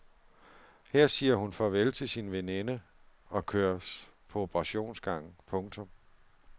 Her siger hun farvel til sin veninde og køres på operationsgangen. punktum